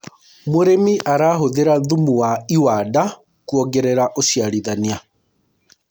mũrĩmi arahuthira thumu wa iwanda kuongerera uciarithanĩa